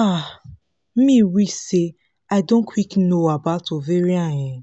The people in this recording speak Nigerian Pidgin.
ah me wish say i don quick know about ovarian um pause